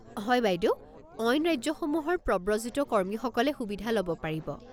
হয় বাইদেউ, অইন ৰাজ্যসমূহৰ প্ৰব্ৰজিত কৰ্মীসকলে সুবিধা ল'ব পাৰিব।